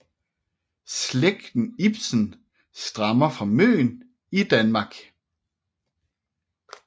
Slægten Ibsen stammer fra Møn i Danmark